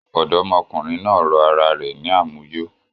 Ọ̀dọ́mọkùnrin náà rọ ara rẹ̀ ní àmuyó